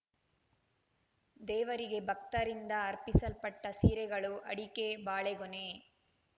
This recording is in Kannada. ದೇವರಿಗೆ ಭಕ್ತರಿಂದ ಅರ್ಪಿಸಲ್ಪಟ್ಟ ಸೀರೆಗಳು ಅಡಿಕೆ ಬಾಳೆಗೊನೆ